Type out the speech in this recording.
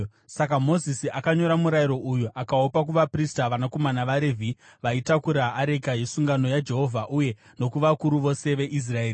Saka Mozisi akanyora murayiro uyu akaupa kuvaprista, vanakomana vaRevhi, vaitakura areka yesungano yaJehovha, uye nokuvakuru vose veIsraeri.